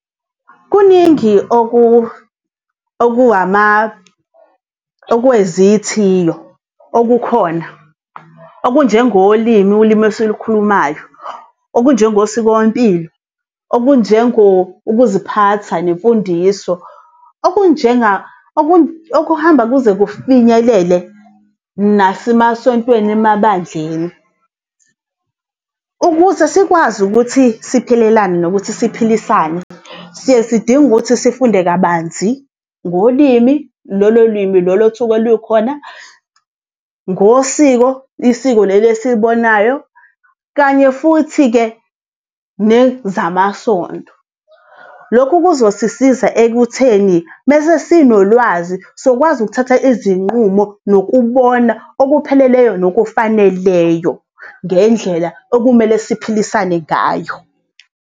Kuningi okwezithiyo okukhona okunjengolimi ulimi esilukhulumayo, okunjengosikompilo, ukuziphatha nemfundiso okuhamba kuze kufinyelele nasemasontweni emabandleni. Ukuze sikwazi ukuthi siphilelane nokuthi siphilisane siye sidinge ukuthi sifunde kabanzi ngolimi, lolo limi olusuke lukhona, ngosiko, isiko leli esilibonayo kanye futhi-ke nezamasonto. Lokhu kuzosisiza ekutheni mese sinolwazi sokwazi ukuthatha izinqumo, nokubona okupheleleyo nokufaneleleyo ngendlela okumele siphilisane ngayo.